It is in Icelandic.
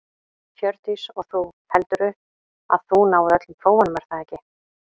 Hjördís: Og þú, heldurðu að þú náir öllum prófunum er það ekki?